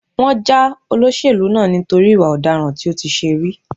Wọ́n já olóṣèlú náà nítorí ìwà ọ̀daràn tó ti ṣe rí.